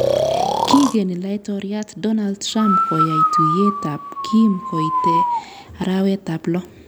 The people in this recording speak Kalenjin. Kigeni laitoryat Donald Trump koyai tuiyet ak Kim koite arawet ab lo